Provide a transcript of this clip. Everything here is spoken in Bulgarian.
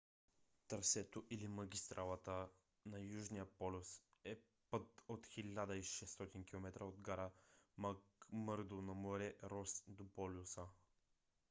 трасето или магистралата на южния полюс е път от 1600 км от гара макмърдо на море рос до полюса